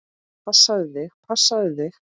Passaðu þig, passaðu þig!